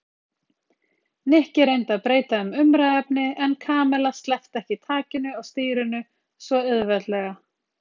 Nikki reyndi að breyta um umræðuefni en Kamilla sleppti ekki takinu á stýrinu svo auðveldlega.